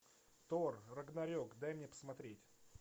тор рагнарек дай мне посмотреть